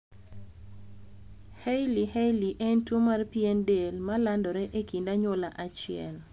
hailey hailey en tuo mar pien del ma landore ekind anywola achiel